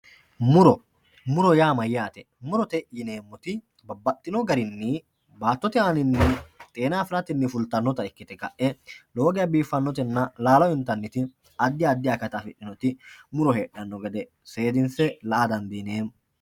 muro muro yaa mayyaate murote yineemmoti babbaxino garinni baattote aanaanni xeena afiratenni fultannota ikkite ka'e lowo geya biiffannotenna laalo intanniti addi addi akata afidhinoti muro heedhanno gede seedinse la''a dandiineemmo.